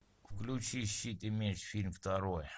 включи щит и меч фильм второй